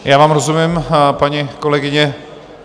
Já vám rozumím, paní kolegyně.